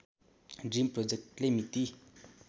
dream प्रोजेक्टले मिति